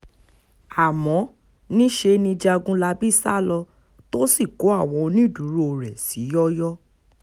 àmọ́ níṣe ni jágunlábí sá lọ tó sì kó àwọn onídùúró rẹ̀ sí yọ́ọ́yọ́